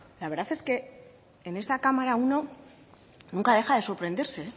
la verdad es que en esta cámara uno nunca deja de sorprenderse